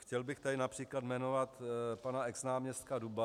Chtěl bych tady například jmenovat pana exnáměstka Duba.